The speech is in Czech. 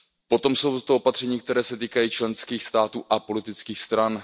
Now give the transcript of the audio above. Potom jsou to opatření, která se týkají členských států a politických stran.